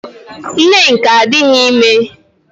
Nneka adịghị ime